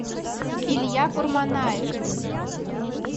илья курманаев